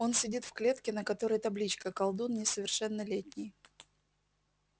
он сидит в клетке на которой табличка колдун несовершеннолетний